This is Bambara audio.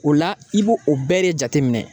O la i b'o o bɛɛ de jateminɛn.